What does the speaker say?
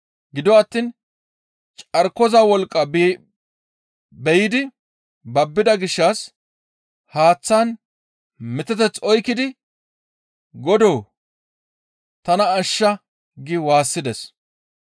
Gido attiin carkoza wolqqa biyidi babbida gishshas haaththan miteteth oykkidi, «Godoo! Tana ashsha!» gi waassides.